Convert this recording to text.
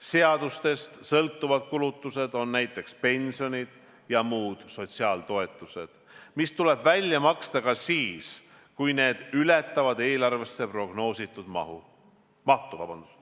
Seadustest sõltuvad kulutused on näiteks pensionid ja muud sotsiaaltoetused, mis tuleb välja maksta ka siis, kui need ületavad eelarvesse prognoositud mahtu.